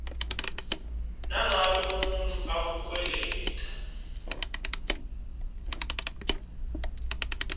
nangabe umuntfu ukukweleta